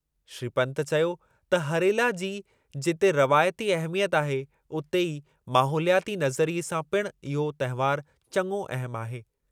श्री पन्त चयो त हरेला जी जिते रवायती अहमियत आहे, उते ई माहोलियाती नज़रिए सां पिणु इहो तहिंवारु चङो अहमु आहे।